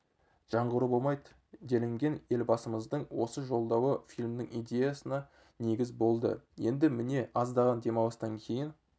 жаңғыру болмайды делінген елбасымыздың осы жолдауы фильмнің идеясына негіз болды енді міне аздаған демалыстан кейін